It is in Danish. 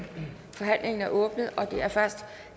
forhandlingen er åbnet og det er først